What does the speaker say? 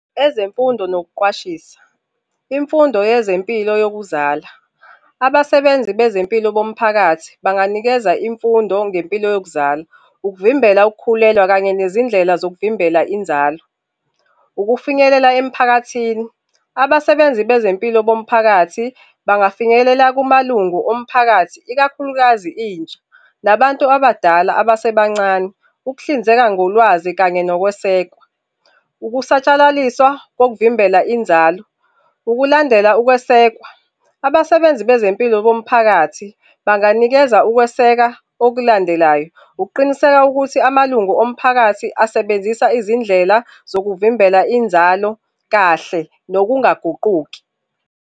Ezemfundo nokuqwashisa, imfundo yezempilo yokuzala. Abasebenzi bezempilo bomphakathi banganikeza imfundo ngempilo yokuzala, ukuvimbela ukukhulelwa kanye nezindlela zokuvimbela inzalo. Ukufinyelela emphakathini. Abasebenzi bezempilo bomphakathi bangafinyelela kumalungu omphakathi, ikakhulukazi intsha nabantu abadala abasebancane. Ukuhlinzeka ngolwazi kanye nokwesekwa. Ukusatshalaliswa kokuvimbela inzalo. Ukulandela ukwesekwa. Abasebenzi bezempilo bomphakathi banganikeza ukweseka okulandelayo, ukuqiniseka ukuthi amalungu omphakathi asebenzisa izindlela zokuvimbela inzalo kahle nokungaguquki.